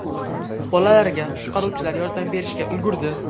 Bolalarga qutqaruvchilar yordam berishga ulgurdi.